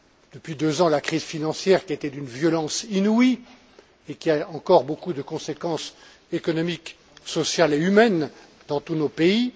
Depuis deux ans, la crise financière qui a été d'une violence inouïe et qui a encore beaucoup de conséquences économiques, sociales et humaines dans tous nos pays.